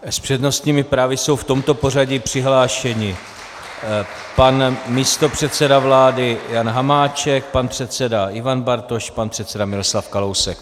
S přednostními právy jsou v tomto pořadí přihlášeni: pan místopředseda vlády Jan Hamáček, pan předseda Ivan Bartoš, pan předseda Miroslav Kalousek.